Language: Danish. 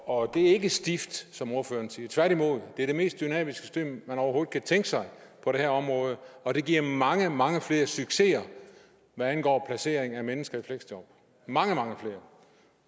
og det er ikke stift som ordføreren siger tværtimod det er det mest dynamiske system man overhovedet kan tænke sig på det her område og det giver mange mange flere succeser hvad angår placering af mennesker i fleksjob mange mange flere